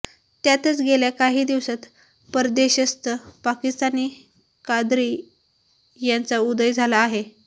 त्यातच गेल्या काही दिवसांत परदेशस्थ पाकिस्तानी काद्री यांचा उदय झाला आहे